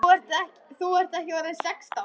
Þú ert ekki orðinn sextán!